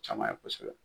Caman ye kosɛbɛ